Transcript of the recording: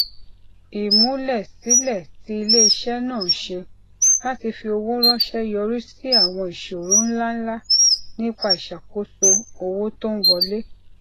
ìmúlẹsílẹ tí iléiṣẹ náà ṣe láti fi owó ránṣẹ yọrí sí àwọn ìṣòro ńláǹlà nípa ìṣàkóso owó tó ń wọlé